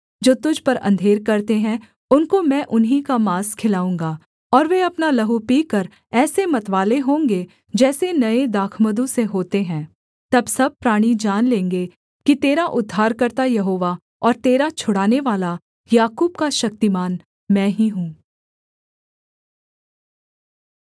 जो तुझ पर अंधेर करते हैं उनको मैं उन्हीं का माँस खिलाऊँगा और वे अपना लहू पीकर ऐसे मतवाले होंगे जैसे नये दाखमधु से होते हैं तब सब प्राणी जान लेंगे कि तेरा उद्धारकर्ता यहोवा और तेरा छुड़ानेवाला याकूब का शक्तिमान मैं ही हूँ